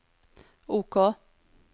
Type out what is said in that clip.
OK